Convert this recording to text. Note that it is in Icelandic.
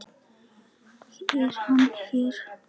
Er hann hér?